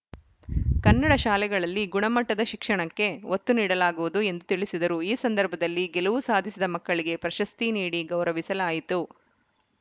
ಕನ್ನಡ ಶಾಲೆಗಳಲ್ಲಿ ಗುಣಮಟ್ಟದ ಶಿಕ್ಷಣಕ್ಕೆ ಒತ್ತು ನೀಡಲಾಗುವುದು ಎಂದು ತಿಳಿಸಿದರು ಈ ಸಂದರ್ಭದಲ್ಲಿ ಗೆಲುವು ಸಾಧಿಸಿದ ಮಕ್ಕಳಿಗೆ ಪ್ರಶಸ್ತಿ ನೀಡಿ ಗೌರವಿಸಲಾಯಿತು